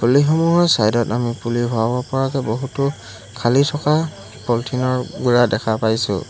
বালিসমূহৰ side ত আমি পুলি ভৰাব পৰাকে বহুতো খালি থকা পলিঠিন ৰ টুকুৰা দেখা পাইছোঁ।